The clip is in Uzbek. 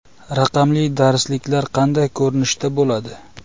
Raqamli darsliklar qanday ko‘rinishda bo‘ladi?